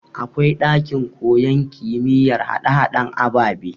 Akwai ɗakin koyan kimiyar hade haden ababe